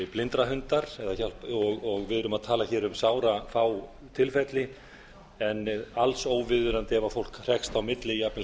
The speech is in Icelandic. blindrahundar og við erum að tala hér um sárafá tilfelli en alls óviðunandi ef fólk hrekst á milli jafnvel